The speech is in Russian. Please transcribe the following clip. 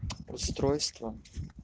устройство